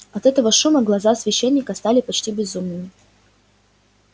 от этого шума глаза священника стали почти безумными